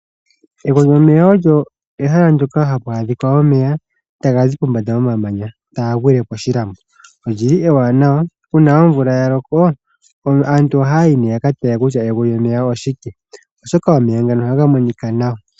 Egwo lyomeya olyo ehala ndyoka hapu adhika omeya taga zi pombanda yomamanya, taga gwile koshilambo . Olyili ewanawa, uuna omvula yaloko aantu ohaya yi yakatale kutya egwo lyomeya oshike oshoka omeya ngano ohaga monika nawa.